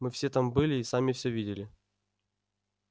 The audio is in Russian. мы все там были и сами всё видели